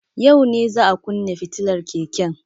Yau ne za a kunne fitilar keken.